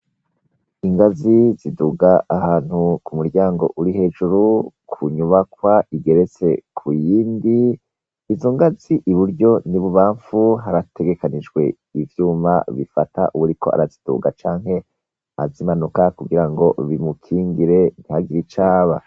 Ingazi ziduga ahantu ku muryango uri hejuru, ku nyubakwa igeretse ku yindi; izo ngazi i buryo n'ibubamfu, harategekanijwe ivyuma bifata uwuriko araziduga canke azimanuka kugira bimukingire ngo ntagire ico aba.